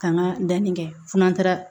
K'an ka danni kɛ fo n'an taara